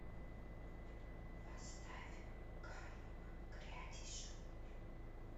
поставь камо грядеши